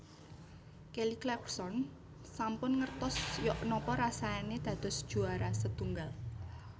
Kelly Clarkson sampun ngertos yok nopo rasane dados juwara setunggal